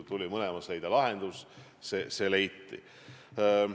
Mõlemale tuli leida lahendus, see leiti.